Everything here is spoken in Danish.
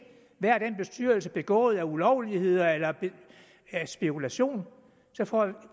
hvad den bestyrelse har begået ulovligheder eller af spekulation så får jeg